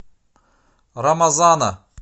рамазана